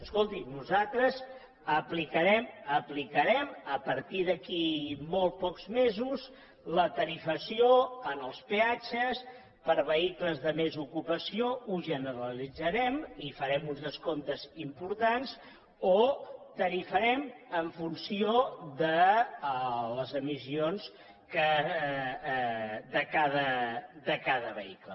escolti nosaltres aplicarem a partir d’aquí a molt pocs mesos la tarifació en els peatges per a vehicles de més ocupació ho generalitzarem i farem uns descomptes importants o ho tarifarem en funció de les emissions de cada vehicle